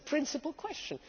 It is a principal question.